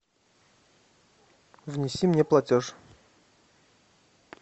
внеси мне платеж